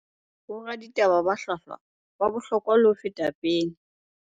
Boraditaba ba hlwahlwa ba bohlokwa le ho feta pele